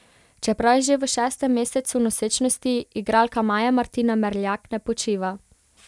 Čeprav je že v šestem mesecu nosečnosti, igralka Maja Martina Merljak ne počiva.